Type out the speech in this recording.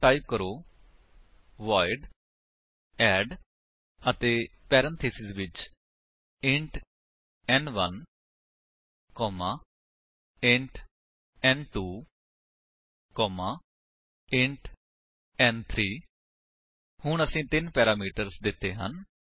ਹੁਣ ਟਾਈਪ ਕਰੋ void add ਅਤੇ ਪੈਰੇਂਥੀਸਿਸ ਵਿੱਚ ਇੰਟ ਨ1 ਕੋਮਾ ਇੰਟ ਨ2 ਕੋਮਾ ਇੰਟ ਨ3 ਹੁਣ ਅਸੀਂ ਤਿੰਨ ਪੈਰਾਮੀਟਰਸ ਦਿੱਤੇ ਹਨ